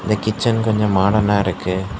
இந்த கிட்ச்சென் கொஞ்ஜோ மாடனா இருக்கு.